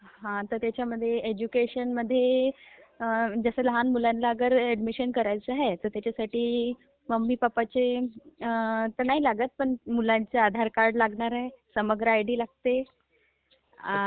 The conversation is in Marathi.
हा तर त्याच्यामध्ये ऐज्युकेशनमध्ये जसं लहान मुलांचे अगर ऍडमिशन करायचं ह्याय तर त्याच्यासाठी मम्मी पप्पाचं तर नाही लागत, मुलांचे आधारकार्ड लागणारे, समग्र आयडी लागते आणि